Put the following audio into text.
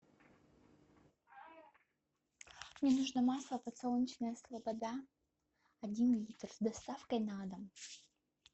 мне нужно масло подсолнечное слобода один литр с доставкой на дом